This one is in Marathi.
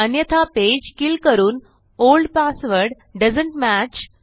अन्यथा पेज किल करून ओल्ड पासवर्ड दोएसंत मॅच